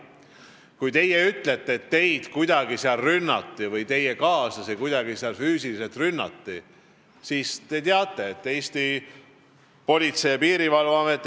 Kui te ütlete, et seal kuidagi rünnati teid või füüsiliselt rünnati teie kaaslasi, siis te teate, et meil on olemas Politsei- ja Piirivalveamet.